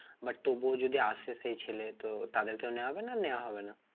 But তবুও যদি আসে সে ছেলে তো তাদেরকেও নেওয়া হবে না নেওয়া হবে না?